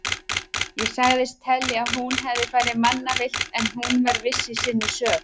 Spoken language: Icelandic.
Ég sagðist telja að hún hefði farið mannavillt en hún var viss í sinni sök.